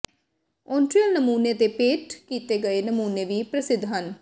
ਓਨਟਰੀਅਲ ਨਮੂਨੇ ਤੇ ਪੇਂਟ ਕੀਤੇ ਗਏ ਨਮੂਨੇ ਵੀ ਪ੍ਰਸਿੱਧ ਹਨ